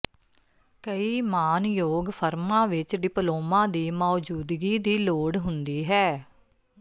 ਕਈ ਮਾਣਯੋਗ ਫਰਮਾਂ ਵਿੱਚ ਡਿਪਲੋਮਾ ਦੀ ਮੌਜੂਦਗੀ ਦੀ ਲੋੜ ਹੁੰਦੀ ਹੈ